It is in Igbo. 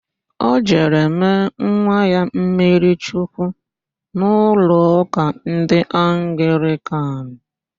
Ọ jere mee nwa ya mmiri chukwu n'ụlọụka ndị Anglịkan.